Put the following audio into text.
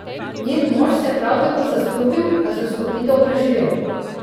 Njen mož se je prav tako zastrupil, a zastrupitev preživel.